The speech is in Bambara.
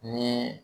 Ni